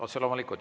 Otse loomulikult.